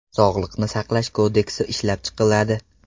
Sog‘liqni saqlash kodeksi ishlab chiqiladi.